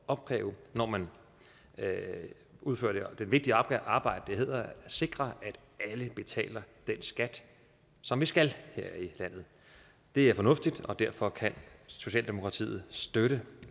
opkræve når man udfører det vigtige arbejde der hedder at sikre at alle betaler den skat som de skal her i landet det er fornuftigt og derfor kan socialdemokratiet støtte